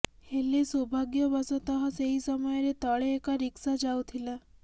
ହେଲେ ସୌଭାଗ୍ୟବଶତଃ ସେହି ସମୟରେ ତଳେ ଏକ ରିକ୍ସା ଯାଉଥିଲା